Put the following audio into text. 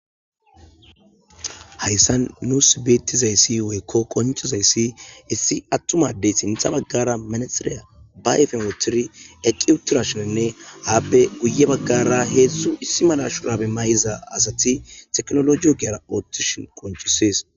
Hayissan nus bettizayiss woyikko qonccisizayssi issi adey sinththara manexera wothidi dizayissanne guye baggara hezdzdu asati technology eqa othishe dizayissa qonccisses